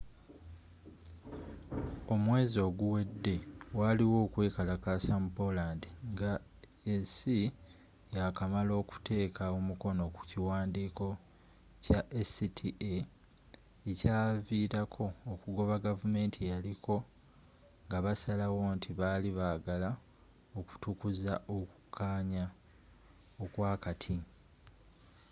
omwezi oguwedde waliwo okwekalakasa mu poland nga esi ya kamala okuteka omukono ku kiwandiiko kya acta ekyavilako okugoba gavumanti eyaliko nga basalawo nti bali bagala okutukuza okukanya okwa kati